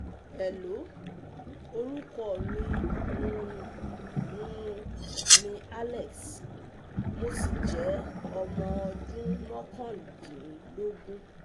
hello orúkọ mi um um ni alex, mo sì jẹ́ ọmọ ọdún mọ́kàndínlógún